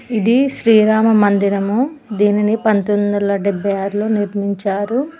ఇది శ్రీరామ మందిరము దీనిని పంతోమిది వేల డెబ్భై ఆరు లో నిర్మించారు.